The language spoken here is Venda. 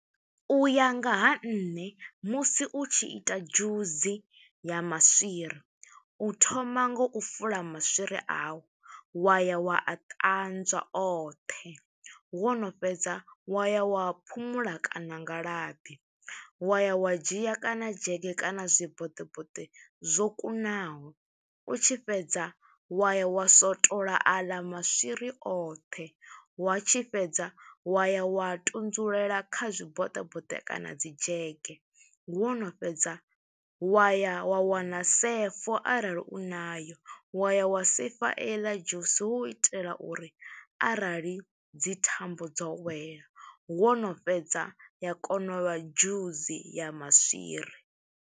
U ya nga ha nṋe, musi u tshi ita dzhusi ya maswiri, u thoma ngo u fula maswiri a u, wa ya wa a ṱanzwa oṱhe. Wo no fhedza wa ya wa a phumula kana nga labi, wa ya wa dzhia kana dzhege kana zwiboṱeboṱe zwo kunaho. U tshi fhedza, wa ya wa swotola aḽa maswiri oṱhe, wa tshi fhedza wa ya wa tunzulela kha zwiboṱeboṱe kana dzi dzhege. Wo no fhedza wa ya wa wana sefo arali u nayo, wa ya wa sefa eḽa dzhusi, hu u itela uri arali dzi thambo dzo wela, wo no fhedza ya kona u vha dzhusi ya maswiri.